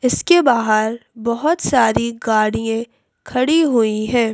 इसके बाहर बहुत सारी गाड़ियां खड़ी हुई हैं।